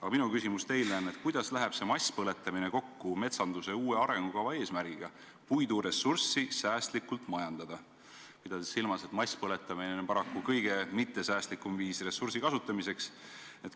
Aga minu küsimus teile on, kuidas läheb see masspõletamine kokku metsanduse uue arengukava eesmärgiga puiduressurssi säästlikult majandada, pidades silmas, et masspõletamine on paraku kõige mittesäästlikum viis ressursi kasutamiseks.